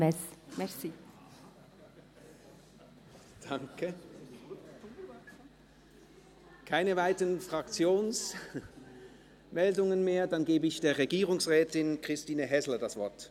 Es gibt keine weiteren Fraktionsmeldungen mehr, dann gebe ich Regierungsrätin Christine Häsler das Wort.